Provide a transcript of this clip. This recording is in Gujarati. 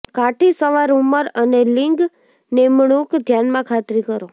કાઠી સવાર ઉંમર અને લિંગ નિમણૂક ધ્યાનમાં ખાતરી કરો